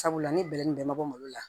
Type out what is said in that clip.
Sabula ni bɛrɛ nin bɛɛ ma bɔ malo la